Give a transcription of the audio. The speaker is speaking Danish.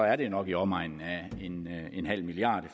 er det nok i omegnen af en halv milliard